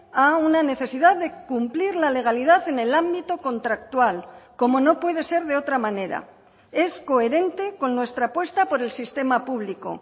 a una necesidad de cumplir la legalidad en el ámbito contractual como no puede ser de otra manera es coherente con nuestra apuesta por el sistema público